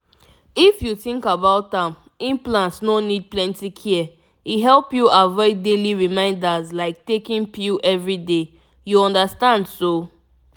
if you think about am implant no need plenty care — e help you avoid daily reminders like taking pill every day you understand so?